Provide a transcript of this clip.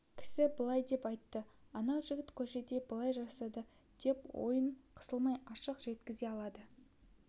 кісі былай деп айтты анау жігіт көшеде былай жасады деп ойын қысылмай ашық жеткізе алады